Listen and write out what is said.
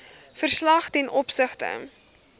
verslag ten opsigte